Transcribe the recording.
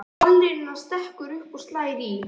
Ballerínan stekkur upp og slær í.